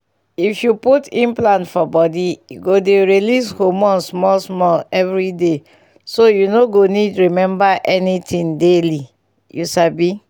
if you put implant for body e go dey release hormone small-small every day so you no go need remember anything daily — you sabi.